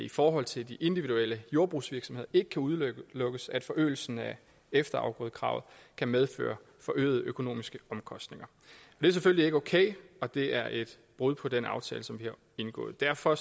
i forhold til individuelle jordbrugsvirksomheder ikke kan udelukkes at forøgelsen af efterafgrødekravet kan medføre forøgede økonomiske omkostninger det er selvfølgelig ikke okay og det er et brud på den aftale som vi har indgået derfor